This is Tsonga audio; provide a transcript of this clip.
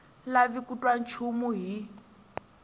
lavi ku twa nchumu hi